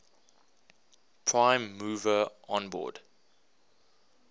prime mover onboard